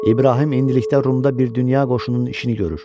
İbrahim indilikdə Rumda bir dünya qoşununun işini görür.